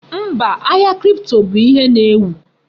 Mba, ahia kripto bụ ihe na-ewu.